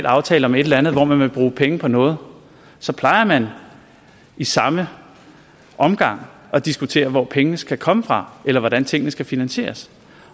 aftale om et eller andet hvor man vil bruge penge på noget så plejer man i samme omgang at diskutere hvor pengene skal komme fra eller hvordan tingene skal finansieres